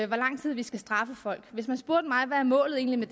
lang tid vi skal straffe folk hvis man spurgte mig hvad målet egentlig